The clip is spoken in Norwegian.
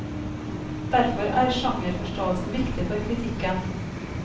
Derfor er sjangerforståelsen viktig for kritikken.